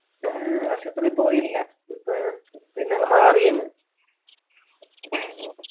ഹും ആശുപത്രിൽ പോയില്ല പിന്നങ് മാറി അങ്